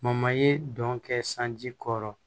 ye dɔn kɛ sanji kɔrɔ